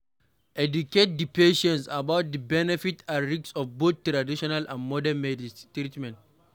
Educate di patience about di benefit and risk of both traditional and modern treatment